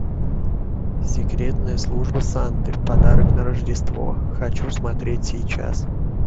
секретная служба санты подарок на рождество хочу смотреть сейчас